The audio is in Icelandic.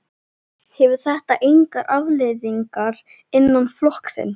Hefur þetta engar afleiðingar innan flokksins?